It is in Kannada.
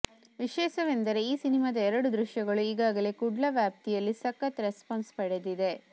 ವಿಶೇಷವೆಂದರೆ ಈ ಸಿನೆಮಾದ ಎರಡು ದೃಶ್ಯಗಳು ಈಗಾಗಲೇ ಕುಡ್ಲ ವ್ಯಾಪ್ತಿಯಲ್ಲಿ ಸಖತ್ ರೆಸ್ಪಾನ್ಸ್ ಪಡೆದಿದೆ